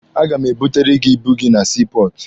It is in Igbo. A ga m ebutere gị ibu gị na sii pọọtụ.